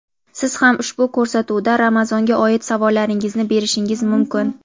siz ham ushbu ko‘rsatuvda Ramazonga oid savollaringizni berishingiz mumkin.